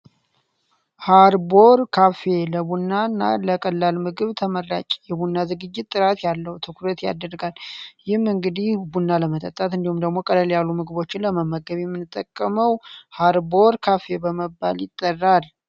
ሃርቦር ካፌ ለቡና እና ተመራጭ የሆነ ሲሆን ቡና ትኩረት ያደርጋል ቡና ለመጠጣት ወይም ደግሞ ምግቦችን ለመመገብ የምንጠቀመው ሃርቦር ካፌ በመባል ይጠራል።